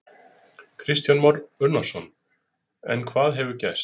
Kristján Már Unnarsson: En hvað hefur gerst?